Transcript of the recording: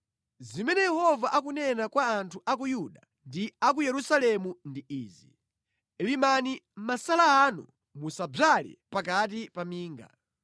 Zimene Yehova akunena kwa anthu a ku Yuda ndi a ku Yerusalemu ndi izi: “Limani masala anu musadzale pakati pa minga.